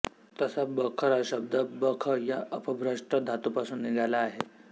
तसा बखर हा शब्द बख् या अपभ्रष्ट धातूपासून निघाला आहे